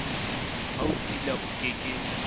ha o tshila oke ke